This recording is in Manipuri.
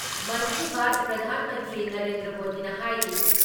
ꯃꯟꯀꯤ ꯕꯥꯠ ꯄ꯭ꯔꯙꯥꯟ ꯃꯟꯇ꯭ꯔꯤ ꯅꯔꯦꯟꯗ꯭ꯔ ꯃꯣꯗꯤꯅ ꯍꯥꯏꯔꯤ